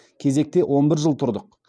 кезекте он бір жыл тұрдық